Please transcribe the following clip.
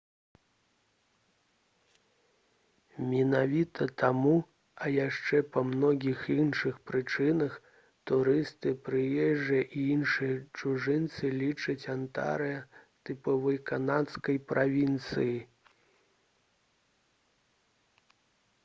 менавіта таму а яшчэ па многіх іншых прычынах турысты прыезджыя і іншыя чужынцы лічаць антарыа тыповай канадскай правінцыяй